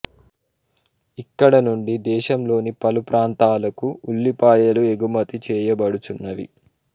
ఇక్కడి నుండి దేశంలోని పలు ప్రాంతాలకు ఉల్లిపాయలు ఏగుమతి చేయబడుచున్నవి